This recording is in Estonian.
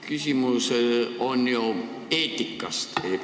Küsimus on ju eetikas.